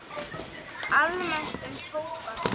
Almennt um tóbak